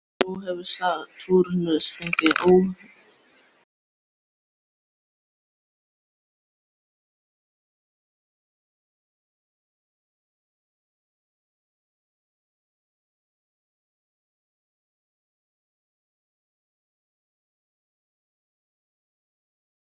Þau þögðu og viktuðu þessar setningar sem höfðu verið sagðar.